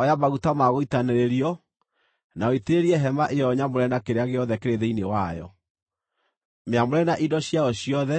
“Oya maguta ma gũitanĩrĩrio, na ũitĩrĩrie hema ĩyo nyamũre na kĩrĩa gĩothe kĩrĩ thĩinĩ wayo; mĩamũre na indo ciayo ciothe,